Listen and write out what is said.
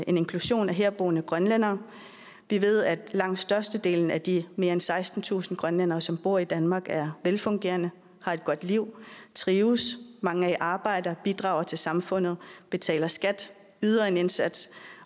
inklusion af herboende grønlændere vi ved at langt størstedelen af de mere end sekstentusind grønlændere som bor i danmark er velfungerende har et godt liv trives mange er i arbejde og bidrager til samfundet betaler skat yder en indsats